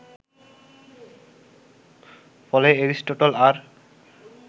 ফলে এরিস্টটল আর